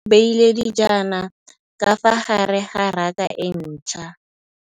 Mmê o beile dijana ka fa gare ga raka e ntšha.